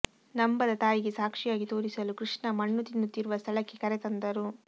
ನಂಬದ ತಾಯಿಗೆ ಸಾಕ್ಷಿಯಾಗಿ ತೋರಿಸಲು ಕೃಷ್ಣ ಮಣ್ಣು ತಿನ್ನುತ್ತಿರುವ ಸ್ಥಳಕ್ಕೆ ಕರೆತಂದರು